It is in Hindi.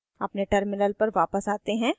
अपने terminal पर वापस आते हैं